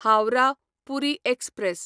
Howrah Puri express